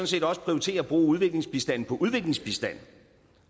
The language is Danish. set også prioritere at bruge udviklingsbistanden på udviklingsbistand